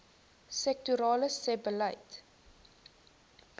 sektorale sebbeleid